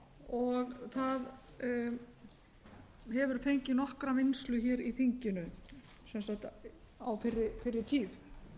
og það hefur fengið nokkra vinnslu hér í þinginu sem sagt á fyrri tíð